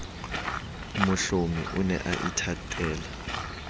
mohlomi o ne a ithatela